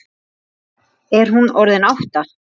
Er hún orðin átta?